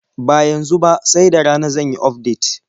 Ba yanzu ba, sai da rana zan yi ufdet.